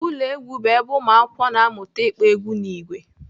Ụlọ egwu bụ ebe ụmụakwụkwọ na-amụta ịkpọ egwu n'ìgwè